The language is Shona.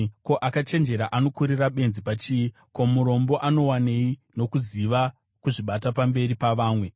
Ko, akachenjera anokurira benzi pachii? Ko, murombo anowanei nokuziva kuzvibata pamberi pavamwe?